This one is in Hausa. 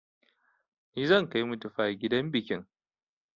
Ni zan kai mitifai gidan bikin